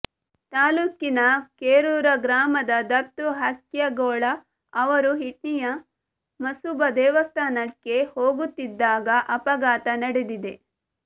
ತಾಲ್ಲೂಕಿನ ಕೇರೂರ ಗ್ರಾಮದ ದತ್ತು ಹಕ್ಯಾಗೋಳ ಅವರು ಹಿಟ್ನಿಯ ಮಸೂಬಾ ದೇವಸ್ಥಾನಕ್ಕೆ ಹೋಗುತ್ತಿದ್ದಾಗ ಅಪಘಾತ ನಡೆದಿದೆ